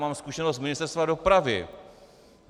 Mám zkušenost z Ministerstva dopravy.